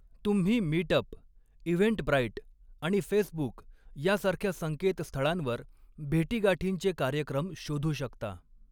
तुम्ही meet up, Eventbrite आणि Facebook यासारख्या संकेतस्थळांवर भेटीगाठींचे कार्यक्रम शोधू शकता.